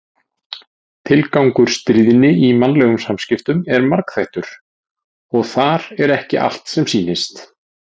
Tilgangur stríðni í mannlegum samskiptum er margþættur og þar er ekki allt sem sýnist.